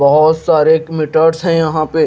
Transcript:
बहोत सारे एक मीटर्स है यहां पे --